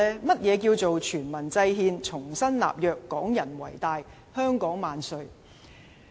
何謂"全民制憲、重新立約、港人為大、香港萬歲"呢？